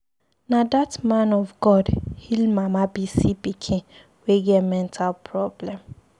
Na that man of God heal Mama Bisi pikin wey get mental problem.